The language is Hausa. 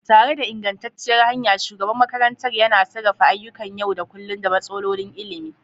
Tare da ingantacciyar hanya, shugaban makarantar yana sarrafa ayyukan yau da kullun da matsalolin ilimi.